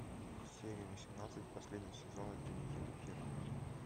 серия восемнадцать последнего сезона дневники вампира